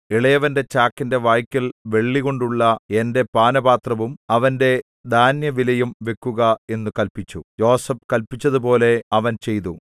ഇളയവന്റെ ചാക്കിന്റെ വായ്ക്കൽ വെള്ളികൊണ്ടുള്ള എന്റെ പാനപാത്രവും അവന്റെ ധാന്യവിലയും വെക്കുക എന്നു കല്പിച്ചു യോസേഫ് കല്പിച്ചതുപോലെ അവൻ ചെയ്തു